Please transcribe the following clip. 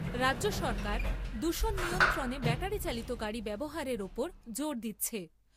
রাজ্য সরকার দূষণ নিয়ন্ত্রণে ব্যাটারি চালিত গাড়ি ব্যবহারের ওপর জোর দিচ্ছে।